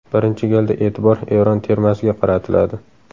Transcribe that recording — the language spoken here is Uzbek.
Birinchi galda e’tibor Eron termasiga qaratiladi.